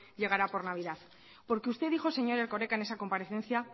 llegará por navidad porque usted dijo señor erkoreka en esa comparecencia